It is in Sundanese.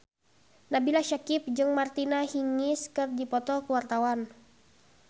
Nabila Syakieb jeung Martina Hingis keur dipoto ku wartawan